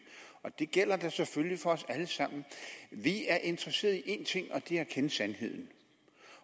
og det gælder da selvfølgelig for os alle sammen vi er interesserede i én ting og det er at kende sandheden